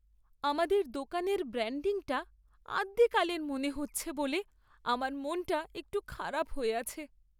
আমাদের দোকানের ব্র্যাণ্ডিংটা আদ্যিকালের মনে হচ্ছে বলে আমার মনটা একটু খারাপ হয়ে আছে।